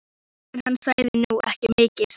En hann sagði nú ekki mikið.